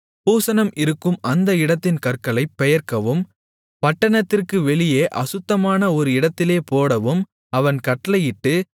பூசணம் இருக்கும் அந்த இடத்தின் கற்களைப் பெயர்க்கவும் பட்டணத்திற்கு வெளியே அசுத்தமான ஒரு இடத்திலே போடவும் அவன் கட்டளையிட்டு